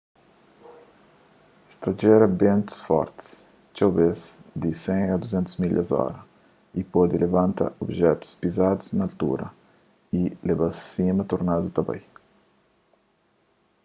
es ta jera bentus forti txeu bês di 100-200 milhas/ora y pode labanta obijetus pizadu naltura y leba-s sima tornadu ta bai